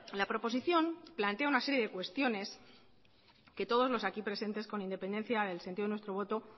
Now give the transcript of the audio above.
la proposición plantea una serie de cuestiones que todos los aquí presentes con independencia del sentido de nuestro voto